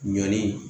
Ɲɔn ye